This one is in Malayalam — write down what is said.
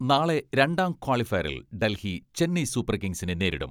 നാളെ രണ്ടാം ക്വാളി ഫയറിൽ ഡൽഹി ചെന്നൈ സൂപ്പർ കിങ്സിനെ നേരിടും.